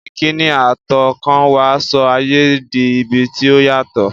Ìkíni àtọkànwá sọ ayé di ibi tí ó yàtọ̀.